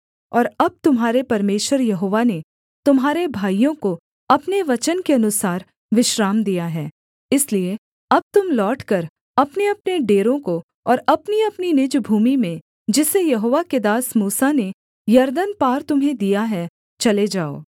और अब तुम्हारे परमेश्वर यहोवा ने तुम्हारे भाइयों को अपने वचन के अनुसार विश्राम दिया है इसलिए अब तुम लौटकर अपनेअपने डेरों को और अपनीअपनी निज भूमि में जिसे यहोवा के दास मूसा ने यरदन पार तुम्हें दिया है चले जाओ